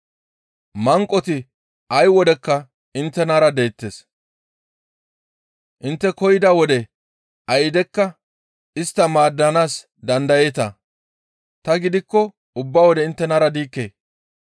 Manqoti ay wodekka inttenara deettes. Intte koyida wode aydekka istta maaddanaas dandayeeta; ta gidikko ubba wode inttenara diikke.